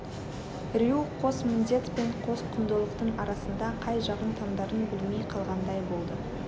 рью қос міндет пен қос құндылықтың арасында қай жағын таңдарын білмей қалғандай болды